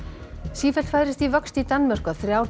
sífellt færist í vöxt í Danmörku að þrjár